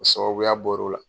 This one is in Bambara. O sababuya bɔr'o la.